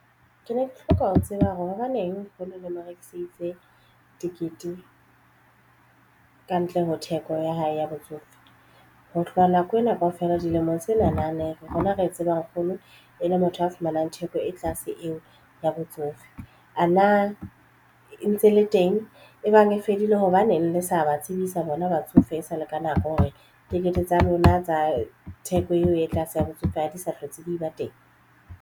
Ke ne ke hloka ho tseba hore hobaneng ha le mo rekiseditse tikete kantle ho theko ya hae ya botsofe ho hloka nako ena kaofela dilemong tse nalane ya rona re e tsebang. Nkgono e le motho a fumanang theko e tlase eo ya botsofe a na ntse le teng e bang e fedile hobaneng le sa ba tsebisa bona batsofe e sale ka nako hore tikete tsa lona tsa theko eo e tlase ya botsofadi sa hlotse be ba teng.